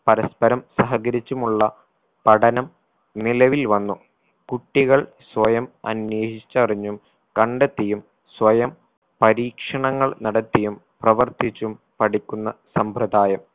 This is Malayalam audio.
പരസ്പരം സഹകരിച്ചുമുള്ള പഠനം നിലവിൽ വന്നു കുട്ടികൾ സ്വയം അന്വേഷിച്ചറിഞ്ഞും കണ്ടെത്തിയും സ്വയം പരീക്ഷണങ്ങൾ നടത്തിയും പ്രവർത്തിച്ചും പഠിക്കുന്ന സമ്പ്രദായം